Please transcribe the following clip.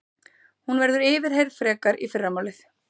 Hún verður yfirheyrð frekar í fyrramálið